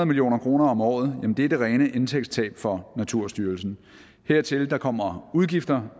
million kroner om året er det rene indtægtstab for naturstyrelsen dertil kommer udgifter